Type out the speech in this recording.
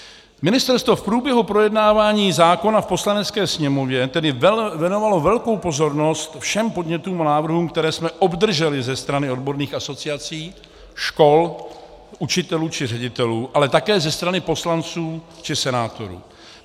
Ministerstvo v průběhu projednávání zákona v Poslanecké sněmovně tedy věnovalo velkou pozornost všem podnětům a návrhům, které jsme obdrželi ze strany odborných asociací, škol, učitelů či ředitelů, ale také ze strany poslanců či senátorů.